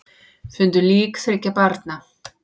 Fundu lík þriggja barna